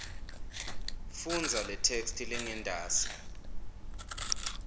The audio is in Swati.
fundza letheksthi lengentasi